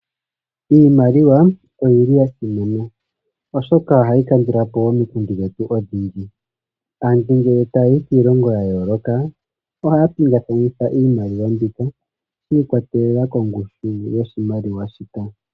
Iimaliwa oyili yasimana, oshoka ohayi kandulapo omikundu dhetu odhindji. Aantu ngele tayayi kiilongo yayooloka oha pingakanitha iimaliwa shi ikwatelela kongushu yoshimaliwa shika.